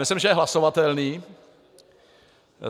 Myslím, že je hlasovatelný.